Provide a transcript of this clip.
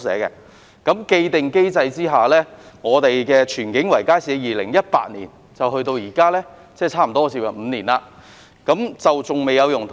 在既定機制下，荃景圍街市由2018年到現在，即差不多接近5年尚未有用途。